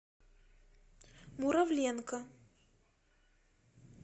муравленко